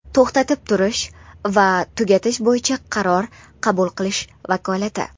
to‘xtatib turish va tugatish bo‘yicha qaror qabul qilish vakolati.